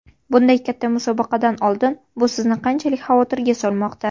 Bunday katta musobaqadan oldin bu sizni qanchalik xavotirga solmoqda?